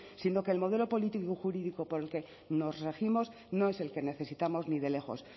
sino que el modelo político y jurídico por el que nos regimos no es el que necesitamos ni de lejos